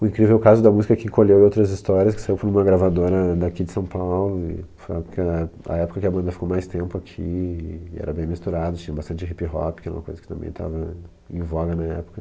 O incrível Caso da Música que Encolheu Outras Histórias, que saiu por uma gravadora daqui de São Paulo, e foi a época que era, a época que a banda ficou mais tempo aqui, e era bem misturado, tinha bastante hip-hop, que era uma coisa que também estava em voga na época.